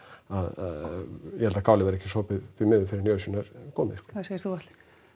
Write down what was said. að ég held að kálið verði ekki sopið því miður fyrr en í ausuna er komið hvað segir þú Atli